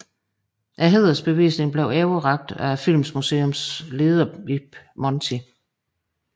Hædersbevisningen bliver overrakt af Filmmuseets leder Ib Monty